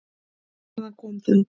Hvaðan kom það?